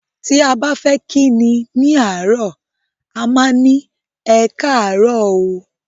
Ti a ba fe ki ni àárọ̀ a má ni "Ekaaarọ o"